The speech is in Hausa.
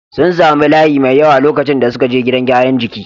Sun sami layi mai yawa lokacin da suke je gidan gyaran jiki.